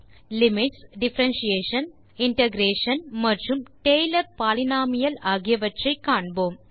limits differentiation integration மற்றும் Taylor polynomial ஆகியவற்றை காண்போம்